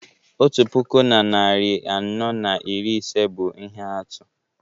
Otu puku na narị anọ na iri ise bụ ihe atụ